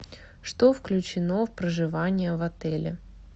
что включено в проживание в отеле